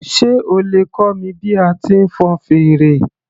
Sé o lè kọ́ mi bí a ti ń fọn fèrè